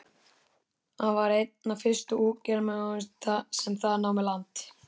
Hann var einn af fyrstu útgerðarmönnunum sem þar námu land.